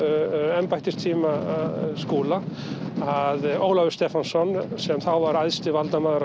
embættistíma Skúla að Ólafur Stephensen sem þá var æðsti valdamaður á